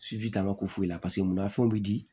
Siji t'a ka ko foyi la paseke munna fɛnw bɛ di